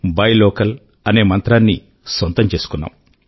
buy local అనే మంత్రాన్ని సొంతం చేసుకున్నాం